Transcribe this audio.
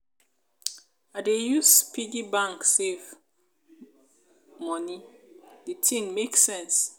i dey use piggy bank save moni di tin make sense.